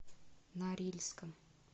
норильском